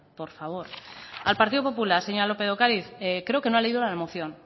por favor al partido popular señora lópez de ocariz creo que no ha leído la moción